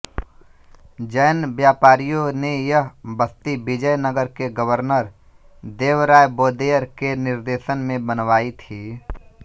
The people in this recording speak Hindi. जैन व्यापारियों ने यह बस्ती विजयनगर के गर्वनर देवराय वोदेयर के निर्देशन में बनवाई थी